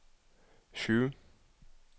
sju